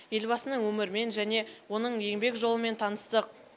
елбасының өмірімен және оның еңбек жолымен таныстық